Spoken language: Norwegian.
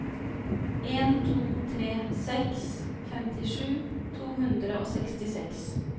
en to tre seks femtisju to hundre og sekstiseks